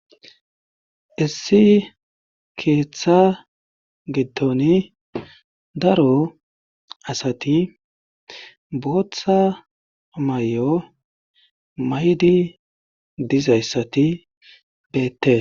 issi keeththa giddon daro asati booththa may7o maydi dizayssati bettese